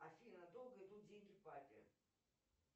афина долго идут деньги папе